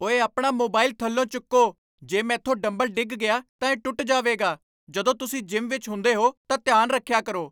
ਓਏ ਆਪਣਾ ਮੋਬਾਈਲ ਥਲੋਂ ਚੁੱਕੋ, ਜੇ ਮੈਂਥੋਂ ਡੰਬਲ ਡਿੱਗ ਗਿਆ ਤਾਂ ਇਹ ਟੁੱਟ ਜਾਵੇਗਾ, ਜਦੋਂ ਤੁਸੀਂ ਜਿਮ ਵਿੱਚ ਹੁੰਦੇ ਹੋ ਤਾਂ ਧਿਆਨ ਰੱਖਿਆ ਕਰੋ।